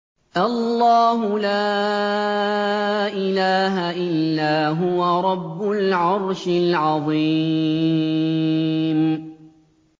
اللَّهُ لَا إِلَٰهَ إِلَّا هُوَ رَبُّ الْعَرْشِ الْعَظِيمِ ۩